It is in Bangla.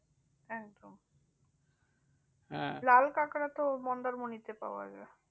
একদম লাল কাঁকড়া তো মন্দারমণিতে পাওয়া যায়।